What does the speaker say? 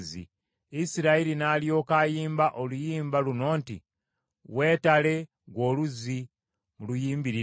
Isirayiri n’alyoka ayimba oluyimba luno, nti, “Weetale, ggwe Oluzzi! Muluyimbirire!